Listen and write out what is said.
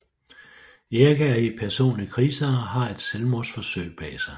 Erik er i personlig krise og har et selvmordsforsøg bag sig